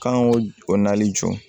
K'an k'o o nali jɔ